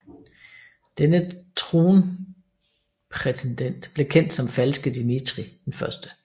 Denne tronprætendent blev kendt som Falske Dmitrij I